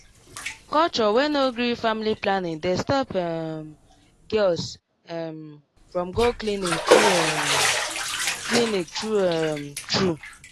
culture wey no gree family planning dey stop um girls um from go clinic true um clinic true um true